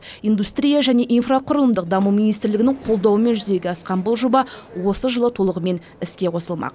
индустрия және инфрақұрылымдық даму министрлігінің қолдауымен жүзеге асқан бұл жоба осы жылы толығымен іске қосылмақ